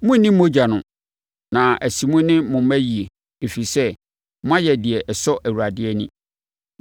Monnni mogya no, na asi mo ne mo mma yie, ɛfiri sɛ, moayɛ deɛ ɛsɔ Awurade ani.